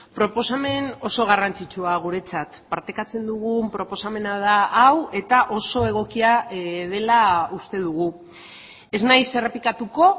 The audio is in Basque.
proposamen oso garrantzitsua guretzat partekatzen dugun proposamena da hau eta oso egokia dela uste dugu ez naiz errepikatuko